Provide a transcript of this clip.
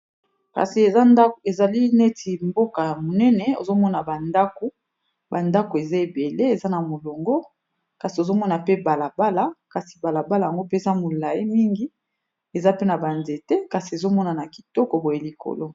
kasi ezali neti mboka ya monene ozomona bandako bandako eza ebele eza na molongo kasi ozomona pe balabala kasi balabala yango mpeza molai mingi eza pe na banzete kasi ezomonana kitoko boye likolo